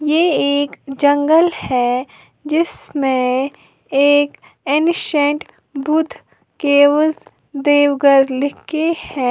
ये एक जंगल है जिसमें एक एनिसेन्ट बुद्ध केवस देवगढ़ लिख के है।